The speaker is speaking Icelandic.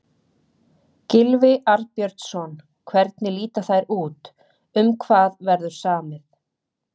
Gylfi Arnbjörnsson, hvernig líta þær út, um hvað verður samið?